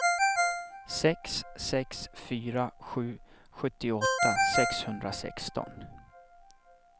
sex sex fyra sju sjuttioåtta sexhundrasexton